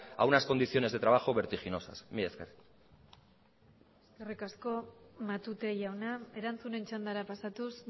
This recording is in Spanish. a unas condiciones de trabajo vertiginosas mila esker eskerrik asko matute jauna erantzunen txandara pasatuz